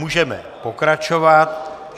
Můžeme pokračovat.